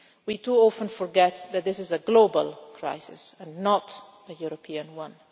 crisis. We too often forget that this is a global crisis and not a European